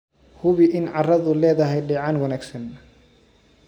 Hubi in carradu leedahay dheecaan wanaagsan.